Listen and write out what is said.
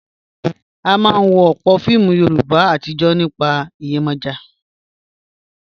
A máa ń wo ọ̀pọ̀ fíìmù Yorùbá àtijọ́ nípa Yemoja.